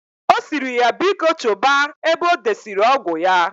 Osiri ya biko choba ebe odesiri ọgwụ ya.